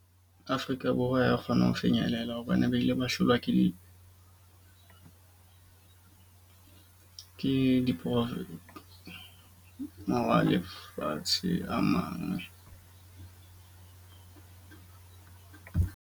Afrika Borwa ya kgona ho fenyelela hobane ba ile ba hlolwa ke di ke di lefatshe a mang .